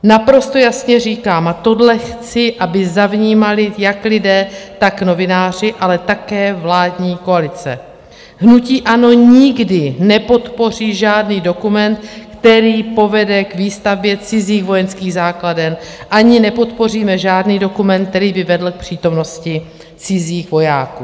Naprosto jasně říkám, a tohle chci, aby zavnímali jak lidé, tak novináři, ale také vládní koalice, hnutí ANO nikdy nepodpoří žádný dokument, který povede k výstavbě cizích vojenských základen, ani nepodpoříme žádný dokument, který by vedl k přítomnosti cizích vojáků.